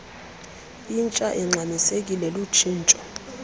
intsha ingxamisekileyo lutshintsho